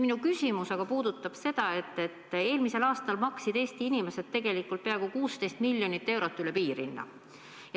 Minu küsimus aga puudutab seda, et eelmisel aastal maksid Eesti inimesed tegelikult peaaegu 16 miljonit eurot üle piirhinna.